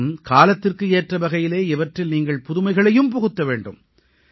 மேலும் காலத்திற்கு ஏற்றவகையிலே இவற்றில் நீங்கள் புதுமைகளையும் புகுத்த வேண்டும்